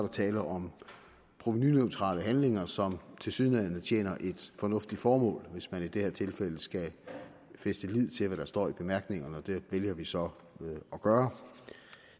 tale om provenuneutrale handlinger som tilsyneladende tjener et fornuftigt formål hvis man i det her tilfælde skal fæste lid til hvad der står i bemærkningerne og det vælger vi så at gøre